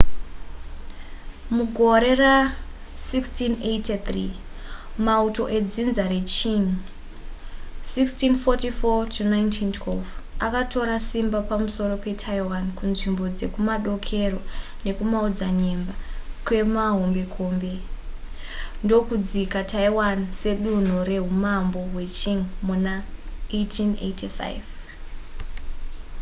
mugore ra1683 mauto edzinza reqing 1644-1912 akatora simba pamusoro petaiwan kunzvimbo dzekumadokero nekumaodzanyemba kwemahombekombe ndokudzika taiwan sedunhu rehumambo hweqing muna 1885